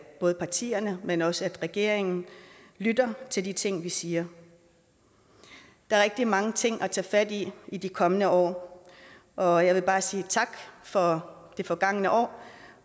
både partierne men også regeringen lytter til de ting vi siger der er rigtig mange ting at tage i de kommende år og jeg vil bare sige tak for det forgange år